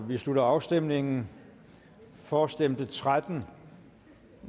vi slutter afstemningen for stemte tretten